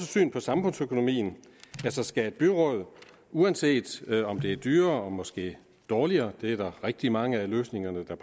syn på samfundsøkonomien altså skal et byråd uanset om det er dyrere og måske dårligere det er der rigtig mange af løsningerne er